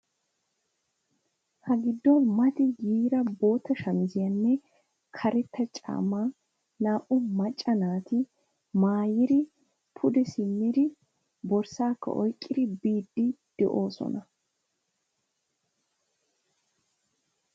Ha giddon Mati yiida bootta shamiziyanne karetta caammaa naati macca naati maayidi pude simmidi borssaakka oykkidi biiddi de'oosona.